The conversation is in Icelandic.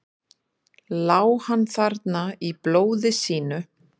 Lá hann þarna í blóði sínu?